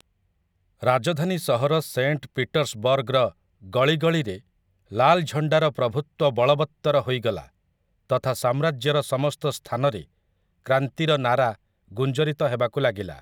ରାଜଧାନୀ ସହର ସେଣ୍ଟ ପିଟର୍ସବର୍ଗର ଗଳିଗଳିରେ ଲାଲଝଣ୍ଡାର ପ୍ରଭୁତ୍ୱ ବଳବତ୍ତର ହୋଇଗଲା ତଥା ସାମ୍ରାଜ୍ୟର ସମସ୍ତ ସ୍ଥାନରେ କ୍ରାନ୍ତିର ନାରା ଗୁଞ୍ଜରିତ ହେବାକୁ ଲାଗିଲା ।